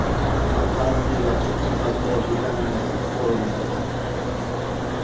Ammo kalsiy yog‘siz va D vitaminisiz so‘rilmaydi.